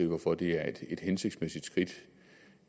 hvorfor det er et hensigtsmæssigt skridt